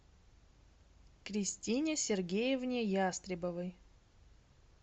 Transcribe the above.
кристине сергеевне ястребовой